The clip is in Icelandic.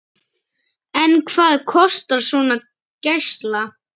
En hvað kostar svona gæsla?